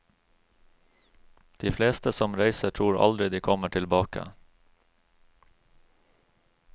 De fleste som reiser tror aldri de kommer tilbake.